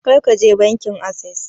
Kar ka je bankin assess!